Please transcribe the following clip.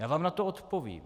Já vám na to odpovím.